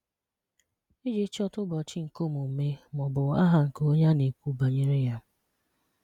Ịji chọta ụbọchị nke omume ma ọ bụ aha nke onye a na-ekwu banyere ya.